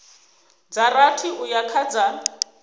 dza rathi uya kha dza